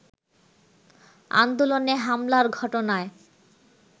আন্দোলনে হামলার ঘটনায়